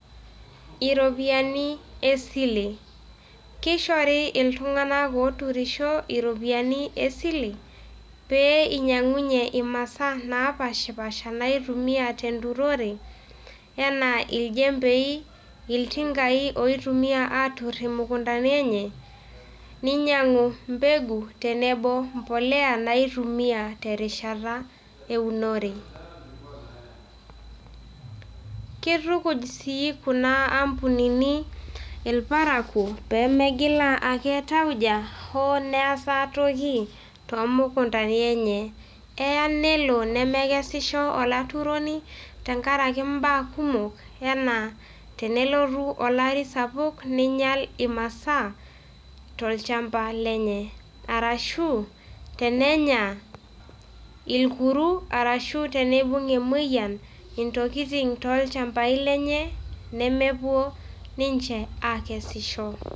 Iropiyani esile kishori il`tung'ana ooturisho iropiyiani esile, pee inyang'unye imasaa naapaashipaasha naaitumia tenturore enaa iljempei, iltingai ooitumia aatur imukuntani enye, ninyang'u mbegu tenebo embolea naaitumia terishata eunore. Kitukuj sii kuna ampunini irparakuo pee megilaa ake tauja hoo neesa toki toomukuntani enye. Eya nelo nemekesisho olaturoni tenkaraki imbaa kumok enaa tenelotu olari sapuk ninyal imasaa tolchamba lenye, arashu tenenya irkuru arashu teneibung' emoyian intokitin toolchambai lenye nemepuo ninche aakesisho.